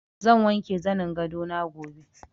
Zan wanke zanin gado na gobe.